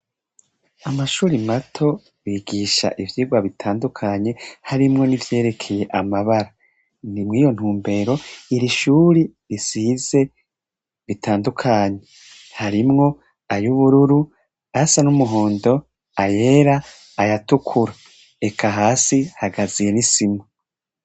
Amashuri mato bigisha ivyigwa bitandukanye harimwo nivyerekeye amabara. Ni mw'iyo ntumbero iri shuri risize ritandukanye. Harimwo ay'ubururu, ay'asa n'umuhondo, ayera, ayatukura. Eka hasi hagazuye n'isima.